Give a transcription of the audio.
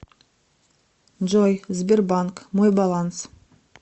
джой сбербанк мой баланс